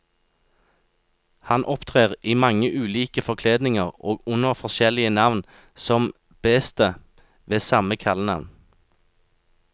Han opptrer i mange ulike forkledninger og under forskjellige navn, som bestet ved samme kallenavn.